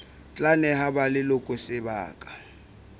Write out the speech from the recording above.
tla neha ba leloko sebaka